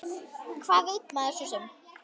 Hvað veit maður svo sem.